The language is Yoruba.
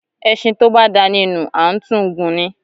Ẹṣin tó bá dáni nu, a n tún gùn ní.